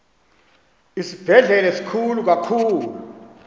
isibhedlele sikhulu kakhulu